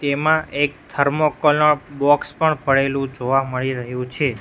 તેમા એક થર્મોકોલ નો બોક્સ પણ પડેલુ જોવા મળી રહ્યુ છે.